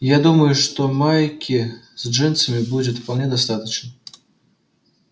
я думаю что майки с джинсами будет вполне достаточно